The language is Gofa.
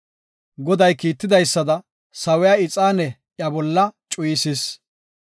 Goday kiitidaysada, sawiya ixaane iya bolla cuyisis.